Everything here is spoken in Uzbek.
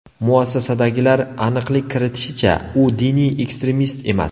Muassasadagilar aniqlik kiritishicha, u diniy ekstremist emas.